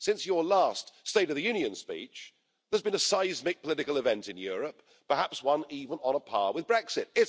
Since your last State of the Union speech there's been a seismic political event in Europe, perhaps one even on a par with Brexit.